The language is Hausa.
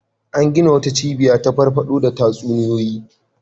An gina wata cibiya ta farfaɗo da tatsuniyoyi.